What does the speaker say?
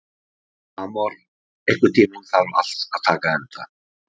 Amor, einhvern tímann þarf allt að taka enda.